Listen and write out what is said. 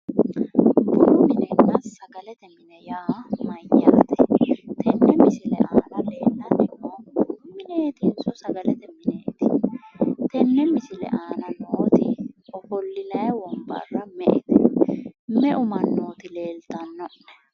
bunu minenna sagaalete mine yaa mayyaate? tenne misile aana leellanni noohu bunu mineetinso sagalete mineeti? tenne misile aana nooti ofollinanni wonbarra me''ete? meu mannooti leeltano'ne?